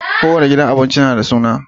kowanne gidan abinci nada suna